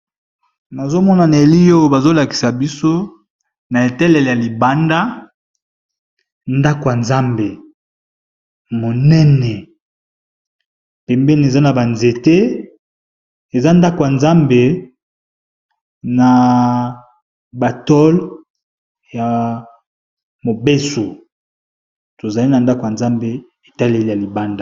nazomona na eli oyo bazolakisa biso na etalele ya libanda ndako ya nzambe monene pembeni eza na banzete eza ndako ya nzambe na batole ya mobeso tozali na ndako ya nzambe etelele ya libanda